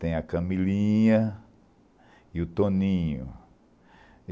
Tem a Camilinha e o Toninho.